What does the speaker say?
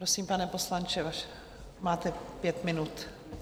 Prosím, pane poslanče, máte pět minut.